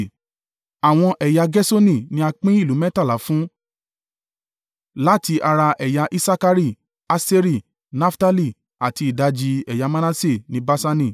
Àwọn ẹ̀yà Gerṣoni ni a pín ìlú mẹ́tàlá fún láti ara ẹ̀yà Isakari, Aṣeri, Naftali àti ìdajì ẹ̀yà Manase ní Baṣani.